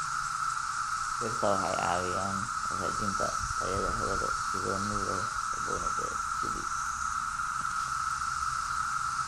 Dhirta waxay caawiyaan hagaajinta tayada hawada iyadoo nuugaya kaboni dioksidi.